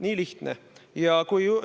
Nii lihtne!